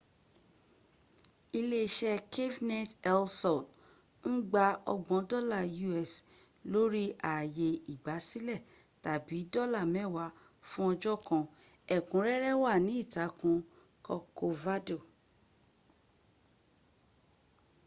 iléeṣẹ́ cafenet el sol ń gba ọgbọ̀n dọ́la us lórí ààyè ìgbásílẹ̀ tàbí dọ́là mẹ́wàá fún ọjọ́ kan; ẹ̀kúnrẹ́rẹ́ wà ní ìtàkùn corcovado